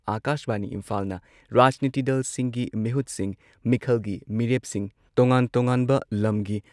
ꯑꯀꯥꯁꯕꯥꯅꯤ ꯏꯝꯐꯥꯜꯅ ꯔꯥꯖꯅꯤꯇꯤ ꯗꯜꯁꯤꯡꯒꯤ ꯃꯤꯍꯨꯠꯁꯤꯡ, ꯃꯤꯈꯜꯒꯤ ꯃꯤꯔꯦꯞꯁꯤꯡ, ꯇꯣꯉꯥꯟ ꯇꯣꯉꯥꯟꯕ ꯂꯝꯒꯤ